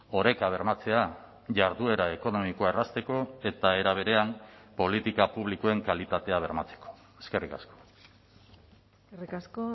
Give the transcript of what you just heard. oreka bermatzea jarduera ekonomikoa errazteko eta era berean politika publikoen kalitatea bermatzeko eskerrik asko eskerrik asko